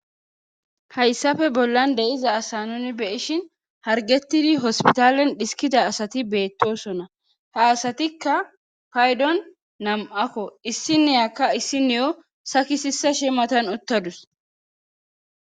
hayssafe bollan de'iza asa nuni beyishin hargettidi hospitalen dhiskida asati beettosona ha asatikka paydon nam7akko issineyakka issineyo sakisisa shimatan uttadus